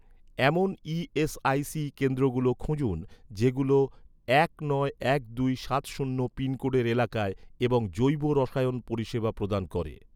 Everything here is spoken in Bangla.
এমন ইএসআইসি কেন্দ্রগুলো খুঁজুন, যেগুলো এক নয় এক দুই সাত শূন্য পিনকোডের এলাকায় এবং জৈব রসায়ন পরিষেবা প্রদান করে